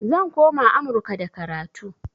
Zan koma amurka da karatu